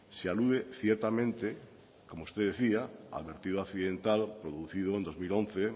se alude ciertamente como usted decía al vertido accidental producido en dos mil once